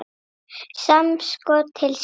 Samskot til SÍK.